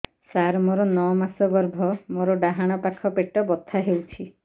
ସାର ମୋର ନଅ ମାସ ଗର୍ଭ ମୋର ଡାହାଣ ପାଖ ପେଟ ବଥା ହେଉଛି